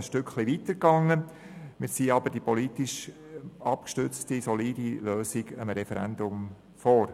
Aber wir ziehen diese politisch abgestützte Lösung einem Referendum vor.